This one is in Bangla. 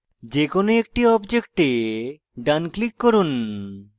যেকোনো একটি objects ডান click করুন